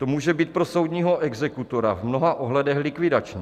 To může být pro soudního exekutora v mnoha ohledech likvidační.